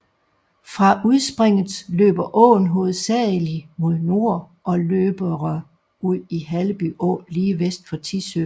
Fra udspringet løber åen hovedsagelig mod nord og løbere ud i Halleby Å lige vest for Tissø